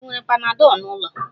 Ị nwere panadol n'ụlọ?